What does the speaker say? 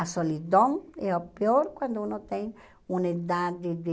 A solidão é o pior quando um tem uma idade de...